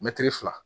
Mɛtiri fila